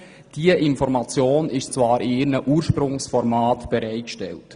Diese Informationen sind in ihren Ursprungsformaten bereitgestellt.